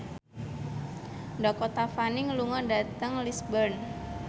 Dakota Fanning lunga dhateng Lisburn